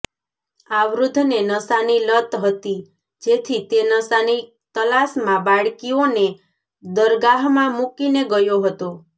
આ વૃદ્ધને નશાની લત હતી જેથી તે નશાની તલાશમાં બાળકીઓને દરગાહમાં મૂકીને ગયો હતો